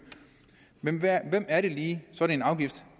men hvem er det lige sådan en afgift